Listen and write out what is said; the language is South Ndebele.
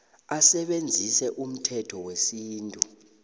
asebenzise umthetho wesintu